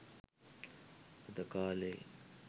අද කාලෙ